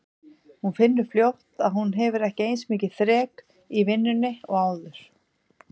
Hún finnur fljótt að hún hefur ekki eins mikið þrek í vinnunni og áður.